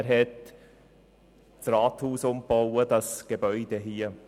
Er hatte dieses Gebäude, das Rathaus, umgebaut.